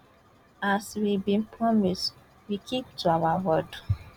as we bin promise we keep to our word